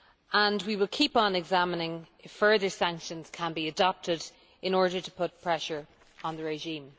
And we will keep on examining if further sanctions can be adopted in order to put pressure on the regime.